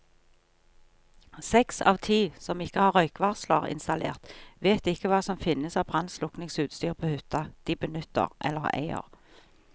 Seks av ti som ikke har røykvarsler installert, vet ikke hva som finnes av brannslukningsutstyr på hytta de benytter eller eier.